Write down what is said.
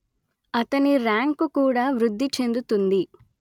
అతని ర్యాంకు కూడా వృద్ది చెందుతుంది